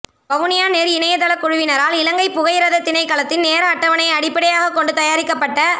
Vavuniya net இணைய தள குழுவினரால் இலங்கை புகையிரத திணைக்களத்தின் நேர அட்டவனையை அடிப்படையாக கொண்டு தயாரிக்கபட்ட